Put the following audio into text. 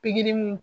Pikiri mun